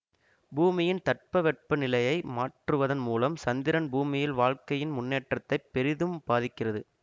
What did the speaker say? பூமியின் தட்பவெப்பநிலையை மாற்றுவதன் மூலம் சந்திரன் பூமியில் வாழ்க்கையின் முன்னேற்றத்தை பெரிதும் பாதிக்கிறது